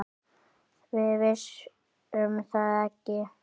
Við vissum það ekki.